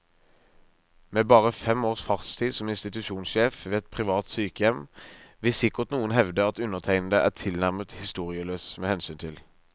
Med bare fem års fartstid som institusjonssjef ved et privat sykehjem vil sikkert noen hevde at undertegnede er tilnærmet historieløs mht.